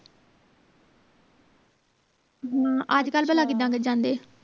ਹਮ ਅੱਜਕਲ ਭਲਾਂ ਕਿਦਾਂ ਫੇਰ ਜਾਂਦੇ